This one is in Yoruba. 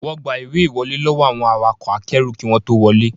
Wọ́n gba ìwé ìwọlé lọ́wọ́ àwọn awakọ̀ akẹ́rù kí wọ́n tó wọlé